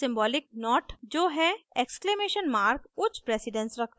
Symbolic not जो है ! उच्च प्रेसिडन्स रखता है